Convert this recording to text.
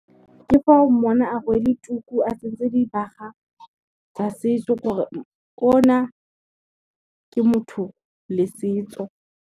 Ke fa o monna a rwele tuku, a tsentse dibaga tsa setso gore o na, ke motho le setso.